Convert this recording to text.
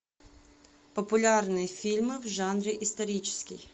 популярные фильмы в жанре исторический